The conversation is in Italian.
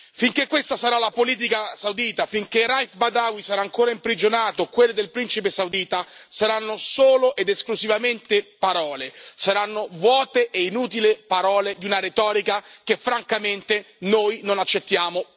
Finché questa sarà la politica saudita, finché Raif Badawi sarà ancora imprigionato, quelle del principe saudita saranno solo ed esclusivamente parole, saranno vuote e inutili parole di una retorica che, francamente, noi non accettiamo più.